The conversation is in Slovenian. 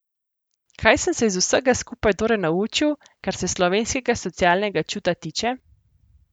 Kaj sem se iz vsega skupaj torej naučil, kar se slovenskega socialnega čuta tiče?